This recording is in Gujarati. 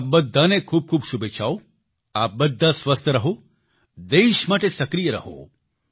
આપ બધાને ખૂબખૂબ શુભેચ્છાઓ આપ બધા સ્વસ્થ રહો દેશ માટે સક્રિય રહો